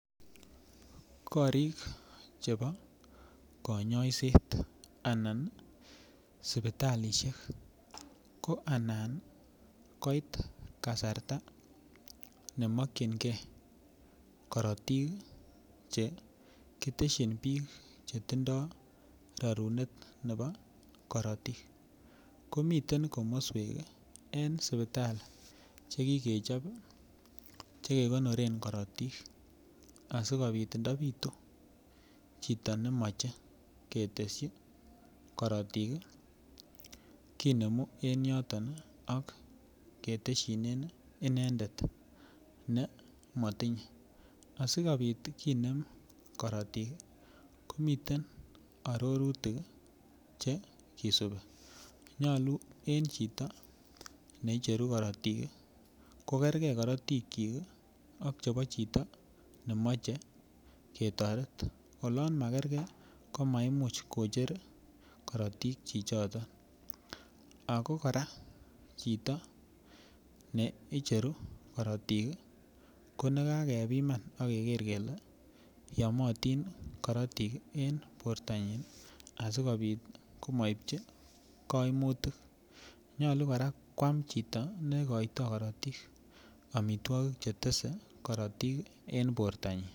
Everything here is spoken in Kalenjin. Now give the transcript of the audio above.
Korik chebo konyoiset anan sipitalisiek ko anan koit kasarta nemokyin nge korotik che kitesyin biik che tindo rarunet nebo korotik. Komiten komoswek en sipitali chekigechop chekegoneret korotik asigopit ndapitu chito nemoche ketesyi korotik kinemu en yoton ak ketesyinen inendet ne motinye asigopit kinem korotik ko miten arorutik che kisupi. Nyalu en chito ne icheru korotik kogerge korotikyik ak chebo chito nemoche ketoret. Olan magerge ko maimuch kocher korotik chichoton ago kora chito ne icheru korotik ko nagakepiman ak keger kele yomotin korotik en bortanyin asigopit komaityi koimutik. Nyolu kora kwam chito negoito korotik amitwogik chetese korotik en bortanyin.